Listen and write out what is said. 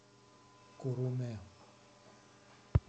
куруме